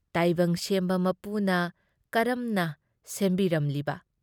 ꯇꯥꯏꯕꯪ ꯁꯦꯝꯕ ꯃꯄꯨꯅ ꯀꯔꯝꯅ ꯁꯦꯝꯕꯤꯔꯝꯂꯤꯕ!